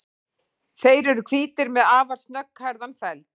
Þeir eru hvítir með afar snögghærðan feld.